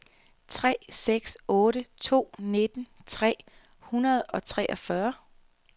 tre seks otte to nitten tre hundrede og treogfyrre